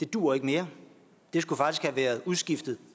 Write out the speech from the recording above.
duer mere det skulle faktisk have været udskiftet